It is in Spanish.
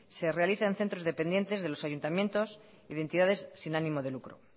se realiza en centros dependientes de los ayuntamientos y de entidades sin ánimo de lucro